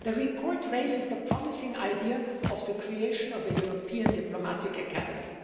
The report raises the promising idea of the creation of a European diplomatic academy.